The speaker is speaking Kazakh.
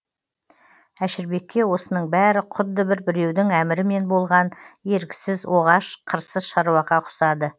әшірбекке осының бәрі құдды бір біреудің әмірімен болған еріксіз оғаш қырсыз шаруаға ұқсады